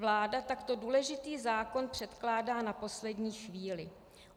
Vláda takto důležitý zákon předkládá na poslední chvíli.